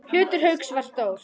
Hlutur Hauks var stór.